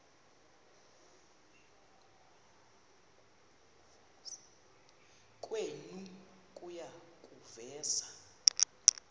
kwenu kuya kuveza